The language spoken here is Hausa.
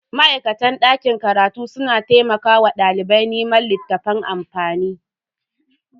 Ma'aikatan dakin karatu suna taimakawa dalibai neman littafan amfani.